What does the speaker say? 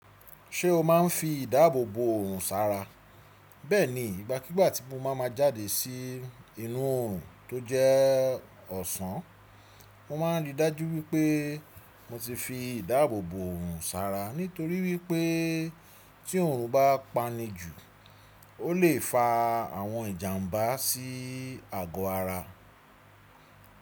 Ṣé o máa ń fi ìdáàbò bò òrùn sára? Bẹ́ẹ̀ni, ìgbàkígbà tí mo bá máa jáde sí inú òrùn tó jẹ́ ọ̀sán, mo máa ń rí i dájú wípé mo ti fi ìdáàbò bò òrùn sára nítorí wípé tí òrùn bá pání jù ó lè fa àwọn ìjàmbá sí àgọ́ ara.